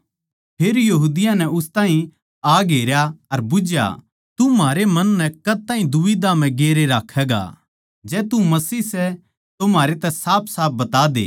फेर यहूदियाँ नै उस ताहीं आ घेरया अर बुझ्झया तू म्हारै मन नै कद ताहीं दुबिध्या म्ह गेरे राक्खैगा जै तू मसीह सै तो म्हारै तै साफसाफ बता दे